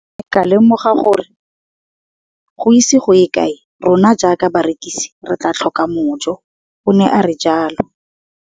Ke ne ka lemoga gore go ise go ye kae rona jaaka barekise re tla tlhoka mojo, o ne a re jalo.